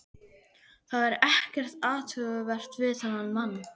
Það er ekkert athugavert við þennan mann.